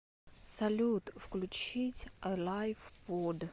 салют включить элайв под